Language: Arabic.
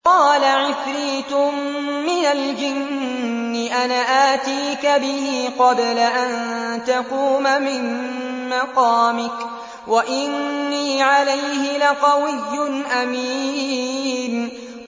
قَالَ عِفْرِيتٌ مِّنَ الْجِنِّ أَنَا آتِيكَ بِهِ قَبْلَ أَن تَقُومَ مِن مَّقَامِكَ ۖ وَإِنِّي عَلَيْهِ لَقَوِيٌّ أَمِينٌ